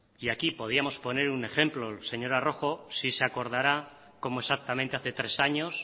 y aquí podíamos poner un ejemplo señora rojo sí se acordará como exactamente hace tres años